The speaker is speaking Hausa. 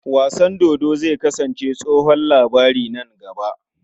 Wasan dodo zai kasance tsohon labari nan gaba.